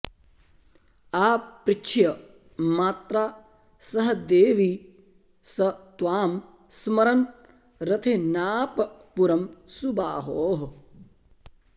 आपृछ्य मात्रा सह देवि स त्वां स्मरन् रथेनाप पुरं सुबाहोः